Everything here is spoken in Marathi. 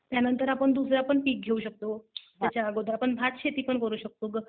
त्यानंतर आपण दुसरं पण पीक घेऊ शकतो ह्याच्या आगोदर. आपण भात शेती करू शकतो.